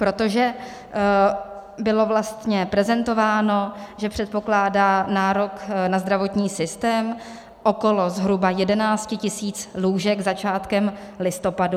Protože bylo vlastně prezentováno, že předpokládá nárok na zdravotní systém okolo zhruba 11 tisíc lůžek začátkem listopadu.